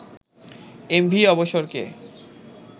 MV অবসরকে